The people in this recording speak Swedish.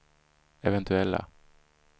eventuella